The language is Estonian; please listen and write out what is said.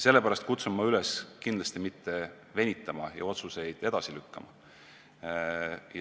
Sellepärast kutsun ma üles mitte venitama ja otsuseid mitte edasi lükkama.